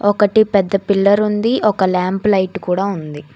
ఒకటి పెద్ద పిల్లర్ ఉంది ఒక ల్యాంప్ లైట్ కూడా ఉంది.